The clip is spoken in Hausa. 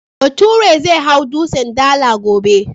Baturen zai hau Dutsen Dala gobe.